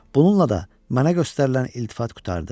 Bununla da mənə göstərilən iltifat qurtardı.